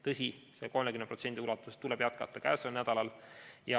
Tõsi, 30% ulatuses tuleb jätkata käesoleval nädalal.